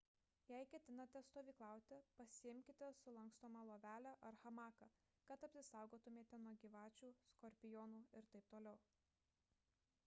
jei ketinate stovyklauti pasiimkite sulankstomą lovelę ar hamaką kad apsisaugotumėte nuo gyvačių skorpionų ir t t